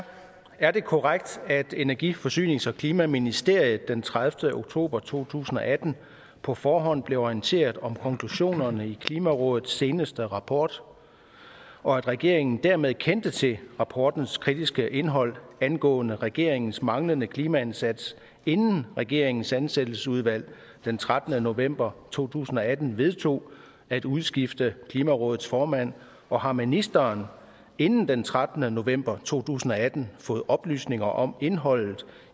er det korrekt at energi forsynings og klimaministeriet den tredivete oktober to tusind og atten på forhånd blev orienteret om konklusionerne i klimarådets seneste rapport og at regeringen dermed kendte til rapportens kritiske indhold angående regeringens manglende klimaindsats inden regeringens ansættelsesudvalg den trettende november to tusind og atten vedtog at udskifte klimarådets formand og har ministeren inden den trettende november to tusind og atten fået oplysninger om indholdet